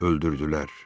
Öldürdülər.